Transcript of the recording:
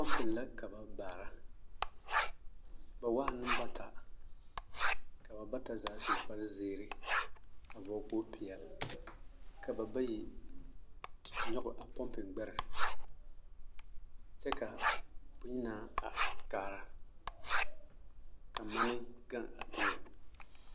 Pɔŋpiŋ la ka ba baara ba waa nimbata ka ba bata zaa su kpare zēēre a vɔl kpog peɛl ka babayi a nyɔge a pɔmpiŋ gbɛre kyɛ ka bonyenaa a are kaara ka mane gaŋ a teŋɛŋ.